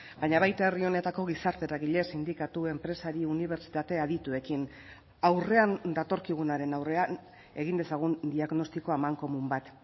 baina baita herri honetako gizarte eragile sindikatu enpresari unibertsitate adituekin aurrean datorkigunaren aurrean egin dezagun diagnostiko amankomun bat